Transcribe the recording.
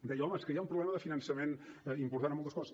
deia home és que hi ha un problema de finançament important en moltes coses